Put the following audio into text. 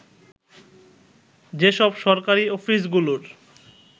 যেসব সরকারি অফিসগুলোর